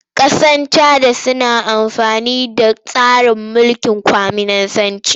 Ƙasar Cana suna amfani da tsarin mulkin kwaminisanci.